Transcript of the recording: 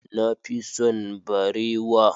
Na fi son barewa.